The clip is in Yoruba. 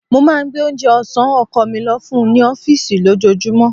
Mo máa ń gbé oúnjẹ ọ̀sán ọkọ̀ mi lọ fún un ní ọfísì lójoojúmọ́